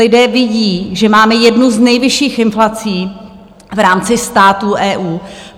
Lidé vidí, že máme jednu z nejvyšších inflací v rámci států EU.